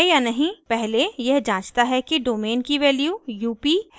पहले यह जांचता है कि domain की वैल्यू up है या नहीं